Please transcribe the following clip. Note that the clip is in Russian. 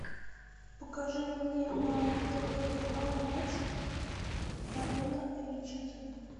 покажи мне на тв канал матч арена эйч ди